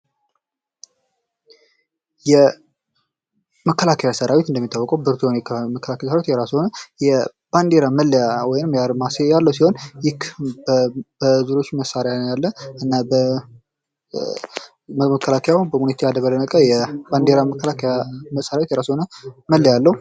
የመከላከያ ሰራዊት እንደሚታወቀው ብርቱ መከላከያ ሰራዊት የራሱ የሆን የባንዲራ መለያ ወይም አርማ ያለው ሲሆን መሳሪያ ያለ በመከላከያ የባንዲራ መከላከያ መሳሪያ የራሱ የሆነ መለያ አለው።